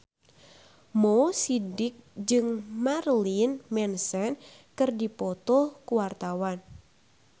Mo Sidik jeung Marilyn Manson keur dipoto ku wartawan